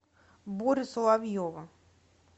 борю соловьева